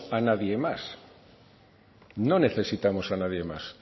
a nadie más no necesitamos a nadie más